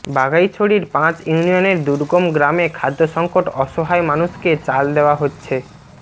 বাঘাইছড়ির পাঁচ ইউনিয়নের দুর্গম গ্রামে খাদ্যসংকট অসহায় মানুষকে চাল দেওয়া হচ্ছে